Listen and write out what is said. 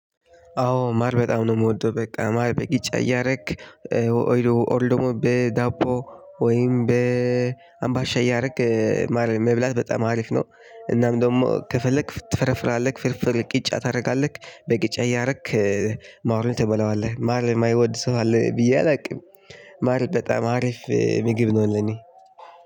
አዎ ማር በጣም ነው የምወደው። በቃ ማር በጊጫ እያደረግክ ኦል ደግሞ በዳቦ ወይም በአምባሻ እያደረግክ ማር መብላት በጣም አሪፍ ነው። እናም ደግሞ ከፈለክ ትፈረፍራለህ ፍርፍር ቅጫ ታደርጋለህ በቅጫ እያደረክ ማሩን ትበላዋለህ። ማር የማይወድ ሰው አለ ብዬ አላውቅም። ማር በጣም አሪፍ ምግብ ነው ለኔ።